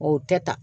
O tɛ ta